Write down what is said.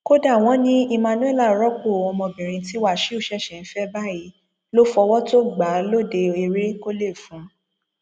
kódà wọn ní emmanuella rọpọ ọmọbìnrin tí wàṣíù ṣẹṣẹ ń fẹ báyìí ló fọwọ tó gbà lóde eré kọlé fún